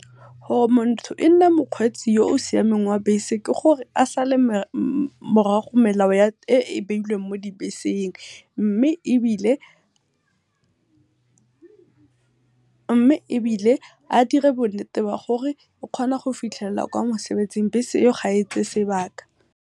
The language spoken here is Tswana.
Gore motho e nne mokgweetsi yo o siameng wa bese ke gore a sale melao morago e e beilweng mo dibeseng, mme ebile mme ebile a dire bo nnete ba gore o kgona go fitlhella kwa mosebetsing bese eo ga e tseye sebaka.